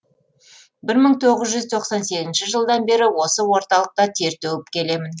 бір мың тоғыз жүз тоқсан сегізінші жылдан бері осы орталықта тер төгіп келемін